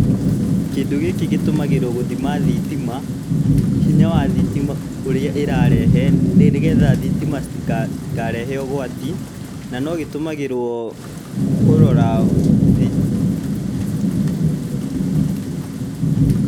Kĩndũ gĩkĩ gĩtũmagĩrwo gũthima thitima, hinya wa thitima ũrĩa ĩrarehe, nĩgetha thitima citikarehe ũgwati, na no gĩtũmagĩrwo kũrora thitima.